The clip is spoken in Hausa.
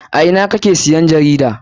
A ina kake siyan jarida?